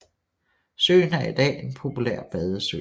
Søen er i dag en populær badesø